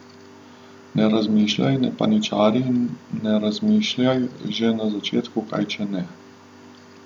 Ne razmišljaj, ne paničari in ne razmišljaj že na začetku, kaj, če ne.